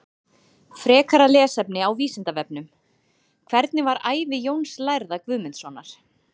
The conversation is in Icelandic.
Frekara lesefni á Vísindavefnum: Hvernig var ævi Jóns lærða Guðmundssonar?